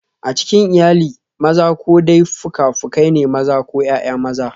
A cikin iyali, maza ko dai fuka-fukai ne, maza ko ’ya’ya maza.